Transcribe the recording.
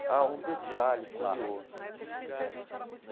Ah, um detalhe curioso.